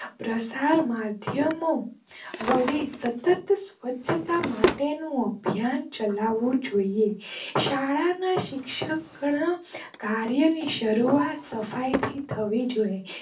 પસાર માધ્યમ વડે સતત સવ્ચ્છતા માટે નું અભિયાન ચાલવું જોઈએ. શાળા ના શિક્ષક ને કાર્ય ની ની શરૂઆત સફાઈ થી થવી જોઈએ.